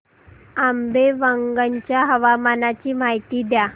आंबेवंगन च्या हवामानाची माहिती द्या